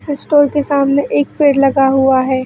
स स्टोर के सामने एक पेड़ लगा हुआ है।